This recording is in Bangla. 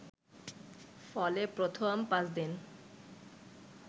ফলে প্রথম পাঁচদিন